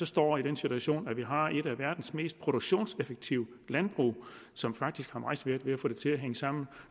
står i den situation at vi har et af verdens mest produktionseffektive landbrug som faktisk har meget svært ved at få det til at hænge sammen